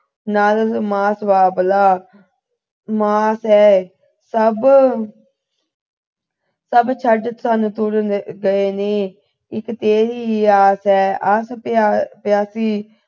ਨਾਲ ਮਾਸ ਬਾਬਲਾ ਮਾਸ ਹੈ ਸਭ ਸਭ ਛੱਡ ਸਨ ਤੁਰ ਅਹ ਗਏ ਨੇ ਇਕ ਤੇਰੀ ਹੀ ਆਸ ਹੈ ਆਸ ਅਹ ਪਿਆਸੀ